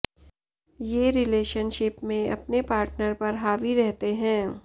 ये रिलेशनशिप में अपने पार्टनर पर हावी रहते हैं